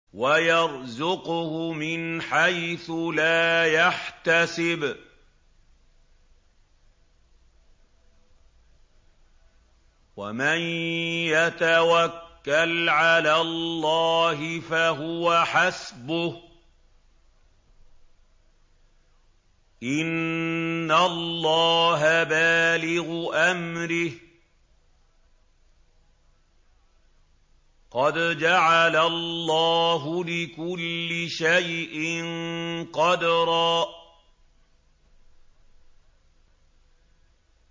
وَيَرْزُقْهُ مِنْ حَيْثُ لَا يَحْتَسِبُ ۚ وَمَن يَتَوَكَّلْ عَلَى اللَّهِ فَهُوَ حَسْبُهُ ۚ إِنَّ اللَّهَ بَالِغُ أَمْرِهِ ۚ قَدْ جَعَلَ اللَّهُ لِكُلِّ شَيْءٍ قَدْرًا